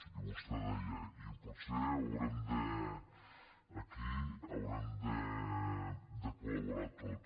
i vostè deia i potser haurem aquí de col·laborar tots